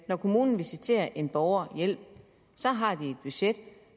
når kommunen visiterer en borger hjælp har de et budget